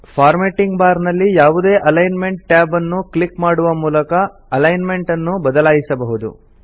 formatting bar ನಲ್ಲಿ ಯಾವುದೇ alignment tab ಅನ್ನು ಕ್ಲಿಕ್ ಮಾಡುವ ಮೂಲಕ ಅಲೈನ್ ಮೆಂಟ್ ಅನ್ನು ಬದಲಾಯಿಸಬಹುದು